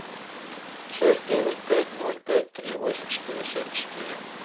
шесть девять пять ноль пять три восемь четыре семь четыре